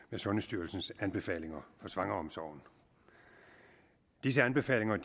med sundhedsstyrelsens anbefalinger for svangreomsorgen disse anbefalinger